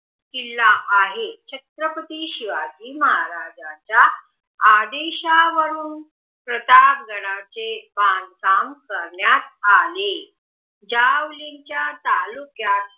किल्ला आहे छत्रपती शिवाजी महाराजांच्या आदेशावरून प्रताप गडाचे बांधकाम करण्यात आले ज्या वेळी च्या तालुक्यात